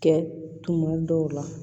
Kɛ tuma dɔw la